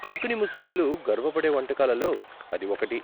కొంకణీ ముస్లింలు గర్వపడే వంటకాలలో అది ఒకటి.